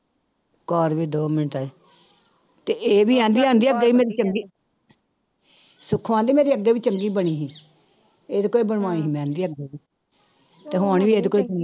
ਕਰ ਵੀ ਦੋ ਮਿੰਟਾਂ ਚ ਤੇ ਇਹ ਵੀ ਕਹਿੰਦੀ ਕਹਿੰਦੀ ਆ ਵੀ ਮੇਰੀ ਚੰਗੀ ਸੁੱਖੋ ਕਹਿੰਦੀ ਮੇਰੀ ਅੱਗੇ ਵੀ ਚੰਗੀ ਬਣੀ ਸੀ, ਇਹਦੇ ਕੋਲੋਂ ਹੀ ਬਣਵਾਈ ਸੀ ਮੈਂ ਕਹਿੰਦੀ ਅੱਗੇ ਵੀ ਤੇ ਹੁਣ ਵੀ ਇਹਦੇ ਕੋਲੋਂ ਹੀ